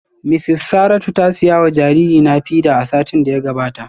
Mrs Saratu ta siya wa jaririna feeder satin da ya gabata